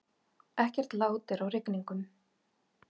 Ekkert lát er á rigningunum